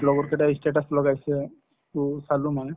লগৰ কেইটাই ই status লগাইছে to চালো মানে